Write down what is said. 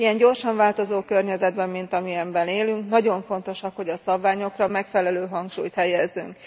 Egy ilyen gyorsan változó környezetben, mint amilyenben élünk, nagyon fontos, hogy a szabványokra megfelelő hangsúlyt helyezzünk.